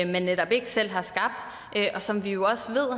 man netop ikke selv har skabt og som vi jo også ved